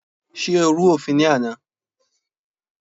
Ṣé o rú òfin ní àná?